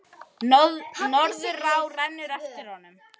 Norðurá rennur eftir honum.